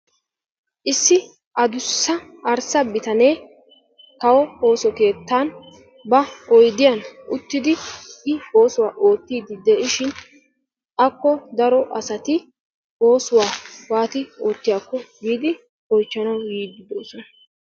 Issi aduussa arssa bitanee kawo ooso keettan ba oydiyaan uttidi i oosuwaa oottidi de'ishin akko daro asati oosuwaa waati oottiyaako giidi oychchanawu yiidi doosona..